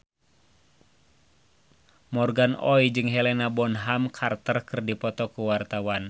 Morgan Oey jeung Helena Bonham Carter keur dipoto ku wartawan